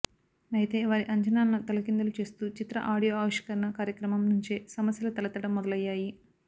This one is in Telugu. అయితే వారి అంచనాలను తలకిందులు చేస్తూ చిత్ర ఆడియో ఆవిష్కరణ కార్మక్రమం నుంచే సమస్యలు తలెత్తడం మొదలయ్యాయి